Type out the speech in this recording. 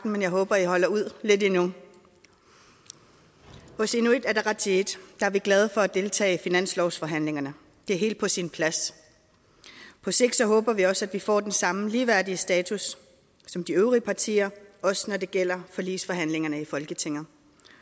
men jeg håber i holder ud lidt endnu hos inuit ataqatigiit er vi glade for at deltage i finanslovsforhandlingerne det er helt på sin plads på sigt håber vi også at vi får den samme ligeværdige status som de øvrige partier også når det gælder forligsforhandlingerne i folketinget